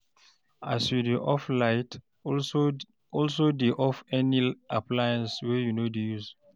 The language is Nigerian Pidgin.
as you dey off light also dey off any appliance wey yu no dey use